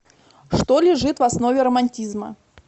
что лежит в основе романтизма